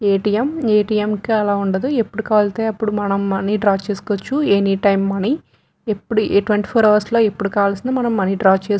ATM. ATM. కి అలావుండదు ఎప్పుడుకవల్తే అప్పుడు మనం మనీ డ్రా చేసుకోవచ్చు. ఎనీటైం మనీ ఎప్పుడు ట్వంటీ ఫోర్ హవర్స్ లో ఎప్పుడుకవల్సిన మనం మనీ డ్రా చేసుకో --